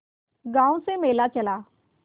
गांव से मेला चला